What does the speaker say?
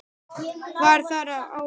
Var þar á að